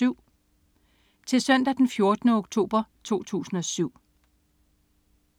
Til Søndag den 14. oktober 2007